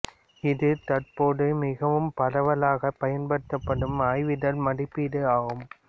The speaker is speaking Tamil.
இது தற்போது மிகவும் பரவலாகப் பயன்படுத்தப்படும் ஆய்விதழ் மதிப்பீடு ஆகும்